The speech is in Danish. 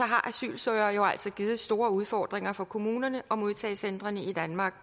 har asylansøgere jo altså givet store udfordringer for kommunerne og modtagecentrene i danmark